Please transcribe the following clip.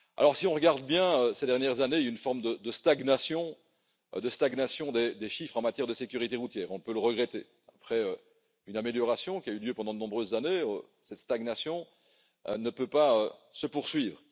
Si l'on regarde bien, ces dernières années, on constate une forme de stagnation des chiffres en matière de sécurité routière, et on peut le regretter. Après une amélioration qui a eu lieu pendant de nombreuses années, cette stagnation ne peut pas se poursuivre.